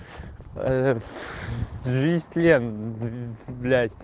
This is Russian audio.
ээ жизнь тлен мм блять